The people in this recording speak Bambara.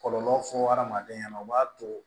Kɔlɔlɔ fɔ hadamaden ɲɛna u b'a to